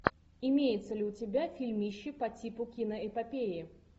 имеется ли у тебя фильмище по типу киноэпопеи